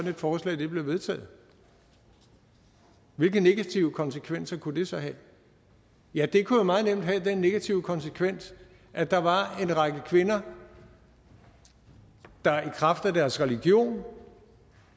et forslag blev vedtaget hvilke negative konsekvenser kunne det så have ja det kunne jo meget nemt have den negative konsekvens at der var en række kvinder der i kraft af deres religion